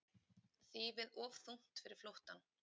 Þýfið of þungt fyrir flóttann